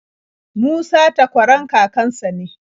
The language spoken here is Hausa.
Musa takwaran kakan sa ne.